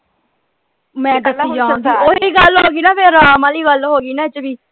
ਮੈਂ ਤਾਂ ਓਹੀ ਗਲ ਹੋਗੀ ਨਾ ਫੇਰ ਆਰਾਮ ਵਾਲੀ ਗਲ ਹੋਗੀ ਵਿਚ ਵੀ।